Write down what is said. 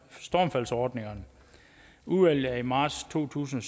stormfaldsordningerne udvalget kom i marts to tusind